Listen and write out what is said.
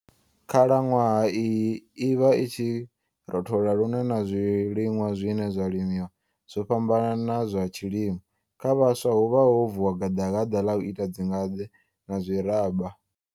Khalanwaha iyi i vha i tshi rothola lune na zwilinwa zwine zwa limiwa zwo fhambana na zwa tshilimo. Kha vhaswa huvha ho vuwa gaḓalaḓa ḽa u ita dzingade na zwiraba.